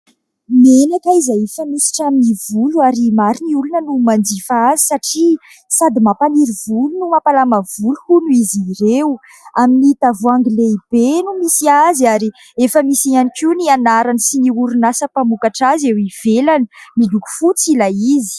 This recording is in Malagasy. Menaka izay fanosotra amin'ny volo ary maro ny olona no manjifa azy satria sady mampaniry volo no mampalama volo hono izy ireo. Amin'ny tavoahangy lehibe no misy azy ary efa misy ihany koa ny anarany sy ny orinasa mpamokatra azy eo ivelany. Miloko fotsy ilay izy.